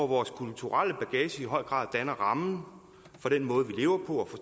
vores kulturelle bagage danner i høj grad rammen for den måde vi lever på